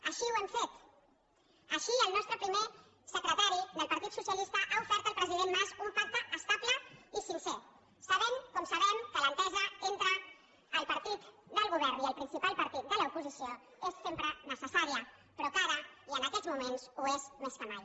així ho hem fet així el nostre primer secretari del partit socialista ha ofert al president mas un pacte estable i sincer sabent com ho sabem que l’entesa entre el partit del govern i el principal partit de l’oposició és sempre necessària però que ara i en aquests moments ho és més que mai